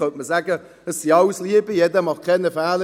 man könnte sagen: «Das sind alles Liebe, keiner macht Fehler;